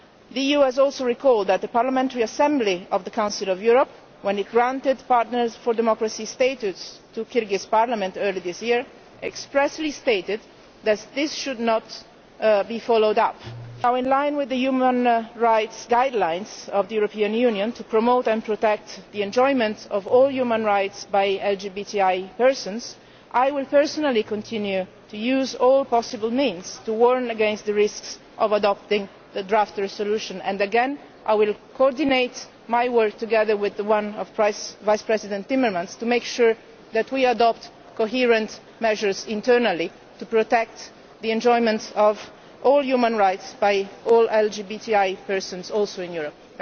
The EU has also recalled that the Parliamentary Assembly of the Council of Europe, when it granted Partner for Democracy status to the Kyrgyz Parliament earlier this year, expressly stated that this should not be followed up. In line with the Human Rights guidelines of the European Union to promote and protect the enjoyment of all human rights by LGBTI persons, I will personally continue to use all possible means to warn against the risks of adopting the draft resolution and I will coordinate my work with that of Vice President Timmermans to make sure that we adopt coherent measures internally to protect the enjoyment of all human rights by all LGBTI persons, including in Europe.